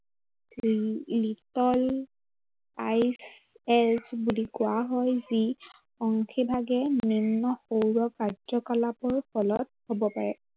লি~লিকল, I S বুলি কোৱা হয়। যি, অংশী ভাৱেই নিম্ন সৌৰ কাৰ্যকলাপৰ ফলত হ'ব পাৰে।